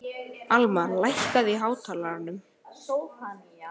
Almar, lækkaðu í hátalaranum.